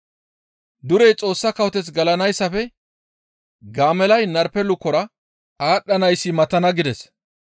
Durey Xoossa kawoteth gelanayssafe gaamellay narpe lukora aadhdhanayssi matana» gides.